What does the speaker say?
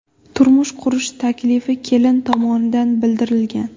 Turmush qurish taklifi kelin tomonidan bildirilgan.